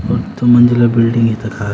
दू मंजिला बिलडिंग तखा।